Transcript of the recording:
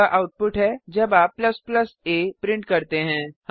यह आउटपुट है जब आप a प्रिंट करते हैं